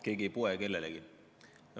Keegi ei poe kellelegi.